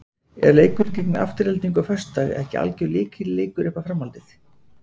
Er leikurinn gegn Aftureldingu á föstudag ekki algjör lykilleikur upp á framhaldið?